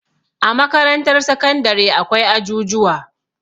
a makarantar sakandare akwai ajujuwa